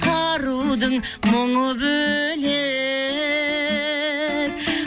арудың мұңы бөлек